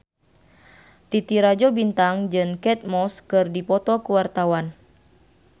Titi Rajo Bintang jeung Kate Moss keur dipoto ku wartawan